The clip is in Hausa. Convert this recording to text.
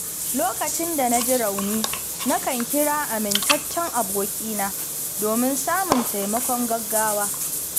Lokacin da na ji rauni, nakan kira amintaccen abokina domin samun taimakon gaugawa.